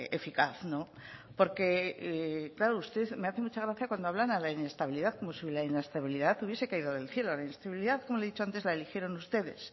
eficaz porque usted me hace mucha gracia cuando hablan a la inestabilidad como si la inestabilidad hubiera caído del cielo la inestabilidad como le he dicho antes la eligieron ustedes